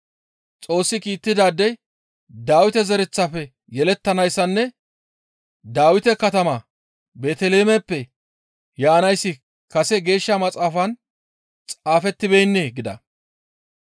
Xoossi kiittidaadey Dawite zereththafe yelettanayssanne Dawite katama Beeteliheemeppe yaanayssi kase Geeshsha Maxaafan xaafettibeennee?» gida.